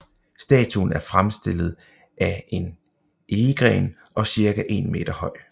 Statuen er fremstillet af en egegren og cirka en meter høj